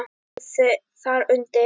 Og þar undir